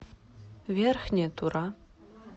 верхняя тура